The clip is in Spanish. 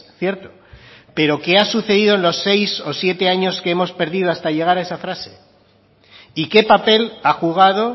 cierto pero qué ha sucedido en los seis o siete años que hemos perdido hasta llegar a esa frase y qué papel ha jugado